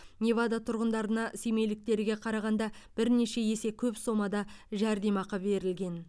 невада тұрғындарына семейліктерге қарағанда бірнеше есе көп сомада жәрдемақы берілген